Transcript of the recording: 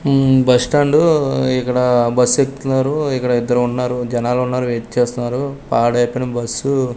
ఉమ్ bus stand ఇక్కడ bus ఎక్కుతున్నారు ఇక్కడ ఇద్దరు ఉన్నారు జనాలున్నారు వెయిట్ చేస్తున్నారు పాడైపోయిన బస్సు --